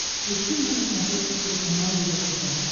включи мне на смотрешке телеканал его тв